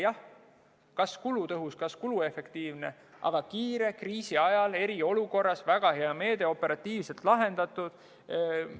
Jah, kas kulutõhus, kas kuluefektiivne, aga kiire, kriisi ajal, eriolukorras väga hea meede, operatiivselt lahendatud.